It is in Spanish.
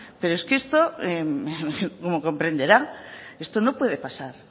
pero es que esto como comprenderá esto no puede pasar